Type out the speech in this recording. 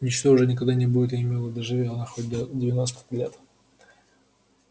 ничто уже никогда не будет ей мило доживи она хоть до девяноста лет